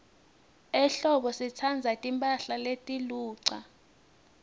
ehlobo sitsandza timphahla letiluca